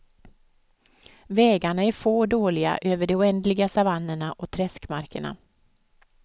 Vägarna är få och dåliga över de oändliga savannerna och träskmarkerna.